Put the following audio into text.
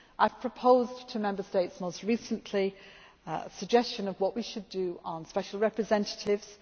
for next year. I have proposed to Member States most recently a suggestion of what we should do on Special Representatives